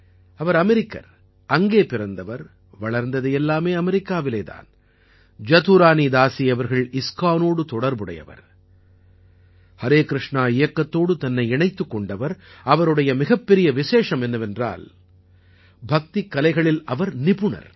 அவர் அமெரிக்கர் அங்கே பிறந்தவர் வளர்ந்தது எல்லாமே அமெரிக்காவிலே தான் ஜதுரானீதாஸீ அவர்கள் இஸ்கானோடு தொடர்புடையவர் ஹரேகிருஷ்ணா இயக்கத்தோடு தன்னை இணைத்துக் கொண்டவர் அவருடைய மிகப்பெரிய விசேஷம் என்னவென்றால் பக்திக்கலைகளில் அவர் நிபுணர்